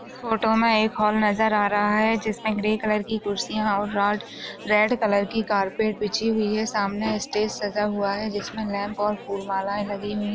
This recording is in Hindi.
हमे एक हॉल नजर आ रहा है जिस मे ग्रे कलर की खुरशिया और राड रेड कलर की कार्पेट बिछी हुई है सामने स्टेज सजा हुवा है जिस मे लैम्प और फूल मालाए लगी हुई है।